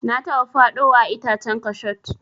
Na taba faɗowa a itacen kashot.